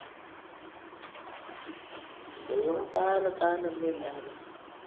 भाऊ आल लय न्यान आल